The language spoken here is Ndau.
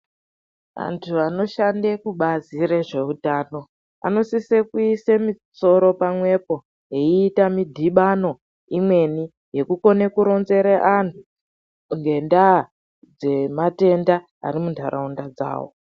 Antu anoshanda kubazi rezveutano anosise kuise musoro pamwepo wiita mudhibano imweni yekukone kuronzere anhu ngendaa dzematenda arimundaraunda dzawo